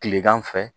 Kilegan fɛ